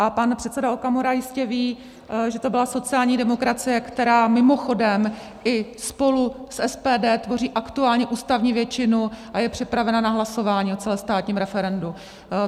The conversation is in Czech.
A pan předseda Okamura jistě ví, že to byla sociální demokracie, která mimochodem i s spolu s SPD tvoří aktuální ústavní většinu a je připravena na hlasování o celostátním referendu.